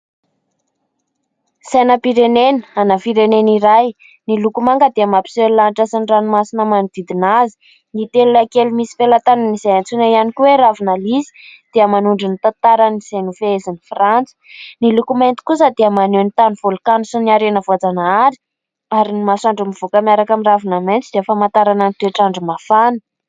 Sainam-pirenena ana firenena iray miloko manga dia mampiseho ny lanitra sy ny ranomasina manodidina azy. Ny felona kely misy felatanan' izay antsoina ihany koa hoe ravina liza dia manondro ny tantaran' izay nofehezin'i frantsa, ny loko mainty kosa dia maneho ny tano volkano sy ny harena voajanahary, ary ny masoandro mivoaka miaraka amin'ny ravina maintso dia famantarana ny toetr' andro mafana.